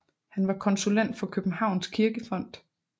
Han var konsulent for Københavns Kirkefond